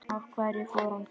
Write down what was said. Af hverju fór hann til